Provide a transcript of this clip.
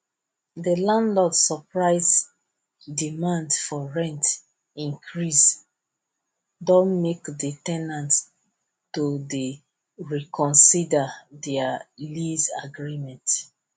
de landlord surprise demand for rent increase don make de ten ant to dey reconsider their lease agreement